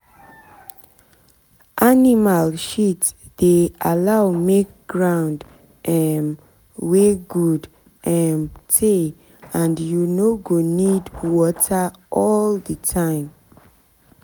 animal shit dey allow make ground um wey good um tey and you no go need water all the time.